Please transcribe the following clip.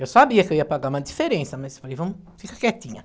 Eu sabia que eu ia pagar uma diferença, mas falei, vamo, fica quietinha.